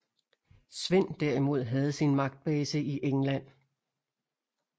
Svend derimod havde sin magtbase i England